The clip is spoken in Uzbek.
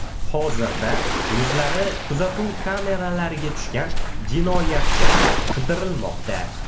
Hozirda yuzlari kuzatuv kameralariga tushgan jinoyatchilar qidirilmoqda.